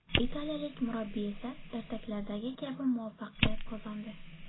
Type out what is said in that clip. Italiyalik murabbiy esa ertaklardagi kabi muvaffaqiyat qozondi.